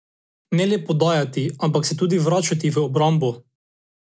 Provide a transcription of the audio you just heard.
Ne le podajati, ampak se tudi vračati v obrambo.